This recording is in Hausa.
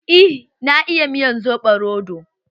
Eh na iya miyar soɓo roɗo.